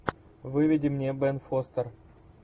выведи мне бен фостер